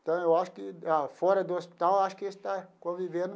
Então eu acho que ah, fora do hospital, acho que está convivendo.